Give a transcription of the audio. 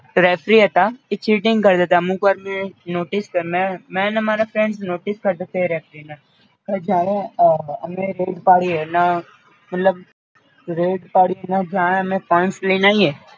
refree હતા એ cheating કરતાંતા અમુક્વાર મી નોટિસ કર મે ને મારા friends notice કરતાતા એ referee હવે જ્યારે અમે red પાડીએ ન મતલબ red પાડીએ ન અમે points લઈને આઈએ